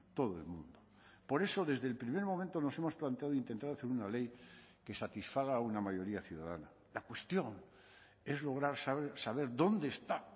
todo el mundo por eso desde el primer momento nos hemos planteado intentar hacer una ley que satisfaga a una mayoría ciudadana la cuestión es lograr saber dónde está